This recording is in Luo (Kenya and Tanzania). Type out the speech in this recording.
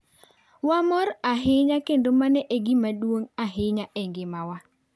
Wamor ahinya kendo mano e gima duong ' ahinya e ngimawa.